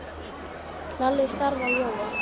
Lalli starði á Jóa.